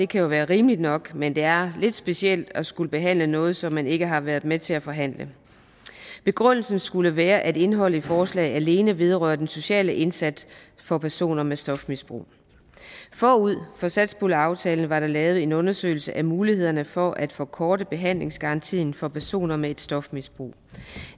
kan jo være rimelig nok men det er lidt specielt at skulle behandle noget som man ikke har været med til at forhandle begrundelsen skulle være at indholdet i forslaget alene vedrører den sociale indsats for personer med et stofmisbrug forud for satspuljeaftalen var der lavet en undersøgelse af mulighederne for at forkorte behandlingsgarantien for personer med et stofmisbrug